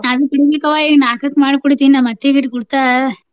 ನಾನು ಕೂಡಿಬೇಕವ್ವ ಈಗ ನಾಕಕ್ಕ ಮಾಡಿ ಕುಡಿತೇನ ನಾ ನಮ್ಮ ಅತ್ತಿಗ ಇಟ್ಟ ಕುಡಿತಾಳ.